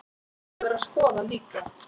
Það verður að skoða líka.